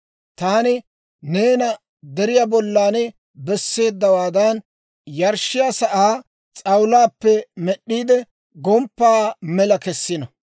Taani neena deriyaa bollan besseeddawaadan, yarshshiyaa sa'aa s'awulaappe med'd'iide, gomppaa mela kesino.